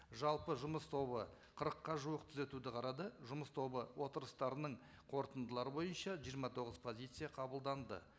жалпы жұмыс тобы қырыққа жуық түзетуді қарады жұмыс тобы отырыстарының қорытындылары бойынша жиырма тоғыз позиция қабылданды